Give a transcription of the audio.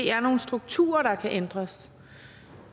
er nogle strukturer der kan ændres